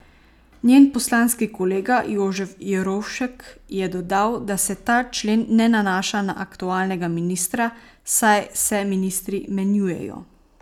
Njen poslanski kolega Jožef Jerovšek je dodal, da se ta člen ne nanaša na aktualnega ministra, saj se ministri menjujejo.